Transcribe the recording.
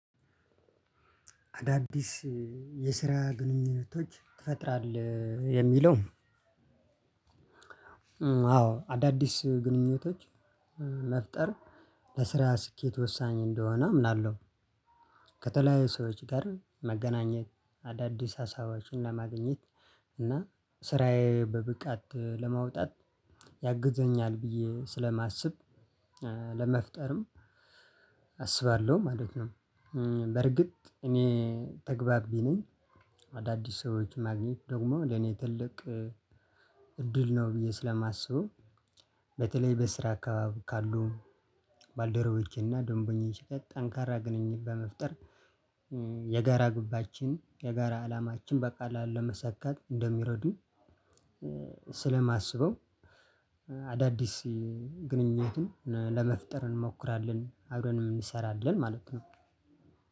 አዳዲስ የስራ ግንኙነቶች ትፈጥራለህ የሚለው? አዎ አዳዲስ ግንኙነቶች መፍጠር ለስራ ስኬት ወሳኝ እንደሆነ አምናለሁ። ከተለያዩ ሰዎች ጋር መገናኘት አዳዲስ ሀሳባችንን ለማግኘት እና ስራዬ በብቃት ለማውጣት ያግዘኛል ብዬ ስለማስብ። ለመፍጠርም አስባለሁ ማለት ነው። በርግጥ እኔ ተግባቢ ነኝ። አዳዲስ ሰዎችን ማግኘት ደግሞ ለኔ ትልቅ ድል ነው ብየ ስለማስበው። በተለይ በስራ አካባቢ ካሉ ባልደረቦቼና ደንቦኞች ጋር ጠኝካራ ግንኙነት በመፍጠር የጋራ ግባችን የጋራ አላማችን በቀላል ለማሳካት እንደሚረዱ ስለማስበው። አዳዲስ ግንኙነትን ለመፍጠር እንሞክራለን አበረንም እንሰራለን ማለት ነው።